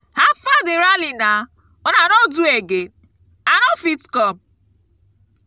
how far the rally now una no do again? i no fit come.